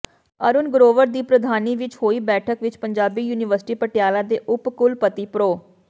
ਅਰੁਣ ਗਰੋਵਰ ਦੀ ਪ੍ਰਧਾਨੀ ਵਿਚ ਹੋਈ ਬੈਠਕ ਵਿਚ ਪੰਜਾਬੀ ਯੂਨੀਵਰਸਿਟੀ ਪਟਿਆਲਾ ਦੇ ਉਪ ਕੁਲਪਤੀ ਪ੍ਰੋ